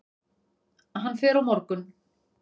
Hann fer á morgun.